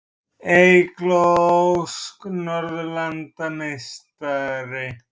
Eygló Ósk Norðurlandameistari